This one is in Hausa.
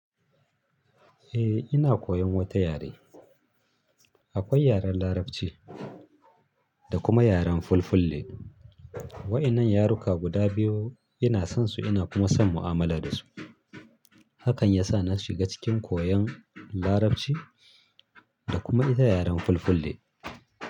Eh ina koyan wata yare. Akwai yaren larabci da kuma yaren fulfulde. Wa'inan yaruka guda biyu ina son su ina kuma son mu'amala da su. Hakan yasa na shiga cikin koyan larabci da kuma ita yaren fulfulde.